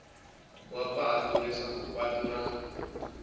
wa patu leswaku patu ra